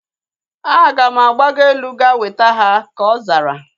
Aga m agbago elu ga weta ha, ka ọ zara